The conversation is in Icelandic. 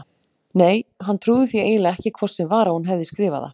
Nei, hann trúði því eiginlega ekki hvort sem var að hún hefði skrifað það.